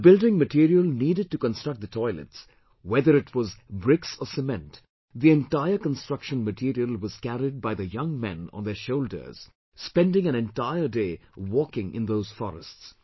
The building material needed to construct the toilets whether it was bricks or cement, the entire construction material was carried by the young men on their shoulders, spending an entire day walking in those forests